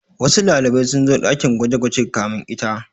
Wasu ɗalibai sun zo ɗakin gwaje-gwaje kamin ita.